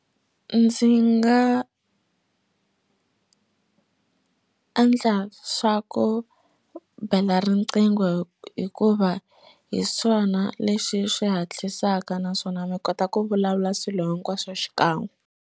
Ndzi nga endla swa ku bela riqingho hikuva hi swona leswi swi hatlisaka naswona mi kota ku vulavula swilo hinkwaswo xikan'we.